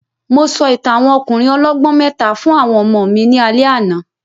Mo sọ ìtàn àwọn ọkùnrin ọlọ́gbọ́n mẹ́ta fún àwọn ọmọ mi ní alẹ́ àná